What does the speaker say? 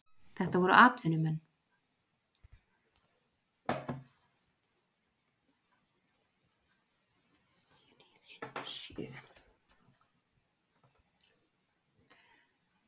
Þetta voru atvinnumenn.